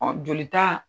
jolita